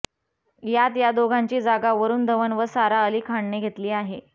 यात या दोघांची जागा वरूण धवन व सारा अली खानने घेतली आहे